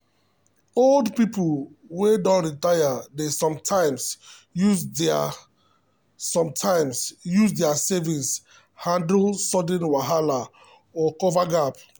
old people wey don retire dey sometimes use their sometimes use their savings handle sudden wahala or cover gap.